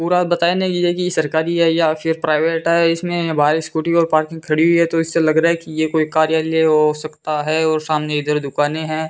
पूरा बताया नहीं गया कि सरकारी है या फिर प्राइवेट है इसमें बाहर स्कूटी और पार्किंग खड़ी हुई है तो इससे लग रहा कि ये कोई कार्यालय हो सकता है और सामने दुकानें हैं।